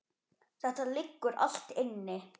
Þetta liggur allt inni